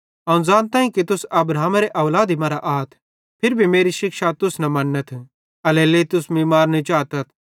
अवं ज़ानताईं कि तुसा अब्राहमेरे औलादी मरां आथ फिरी भी मेरी शिक्षा तुस मन्नथ एल्हेरेलेइ तुस मीं मारने चातथ